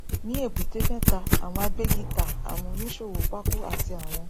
ní èbúté mẹta àwọn agbẹgità àwọn oníṣòwò pákó àti àwọn